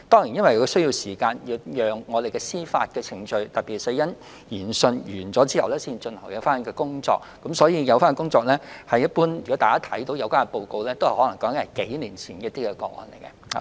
然而，由於司法程序需時，而該委員會須待死因研訊完成後才可展開工作，所以現已公開的委員會報告可能是關於數年前的個案。